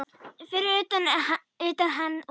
Fyrir utan hann og